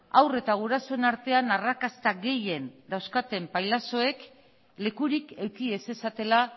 haur eta gurasoen artean arrakasta gehien dauzkaten pailazoek lekurik eduki ez zezatela